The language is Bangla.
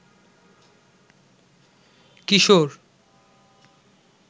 কিশোর